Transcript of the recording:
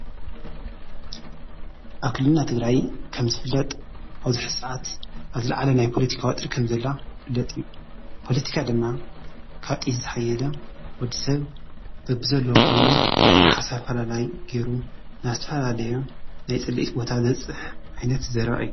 ኣብ ክልልና ትግራይ ከምዝፍለጥ ኣብዚ ሕዚ ሰዓት ኣብ ዝለዓለ ናይ ፖለቲካ ወጥሪ ከምዘላ ይፍለጥ እዩ፡፡ ፖለቲካ ድማ ካብ ጥይት ዝሓየለ ወዲ ሰብ በብዘለዎ ኮይኑ ናይ ሓሳብ ኣፈላላይ ገይሩ ናብ ዝተፈላለየ ናይ ፅልኢት ቦታ ዘብፅሕ ዓይነት ዘረባ እዩ፡፡